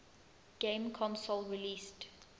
game console released